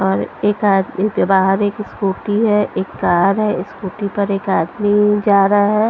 और एक आदमी के बाहर एक स्कूटी है एक कार है स्कूटी पर एक आदमी जा रहा है।